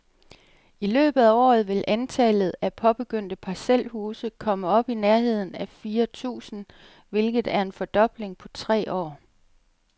I løbet af året vil antallet af påbegyndte parcelhuse komme op i nærheden af fire tusind, hvilket er en fordobling på tre år.